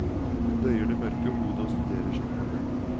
Hun bøyer det mørke hode og studerer sine hender.